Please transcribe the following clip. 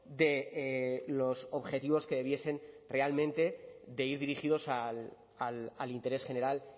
de los objetivos que debiesen realmente de ir dirigidos al interés general